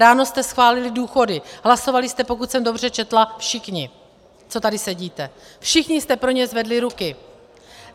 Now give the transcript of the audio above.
Ráno jste schválili důchody, hlasovali jste, pokud jsem dobře četla, všichni, co tady sedíte, všichni jste pro ně zvedli ruce.